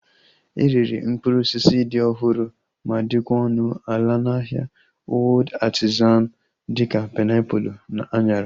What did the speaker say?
E rere mkpụrụ osisi dị ọhụrụ ma dịkwa ọnụ ala na ahịa Old Artizan dịka painiapulu na anyara